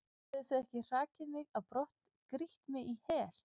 hefðu þau ekki hrakið mig á brott, grýtt mig í hel?